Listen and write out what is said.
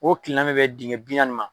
O kile na mɛ bɛ dingɛ bi naani ma.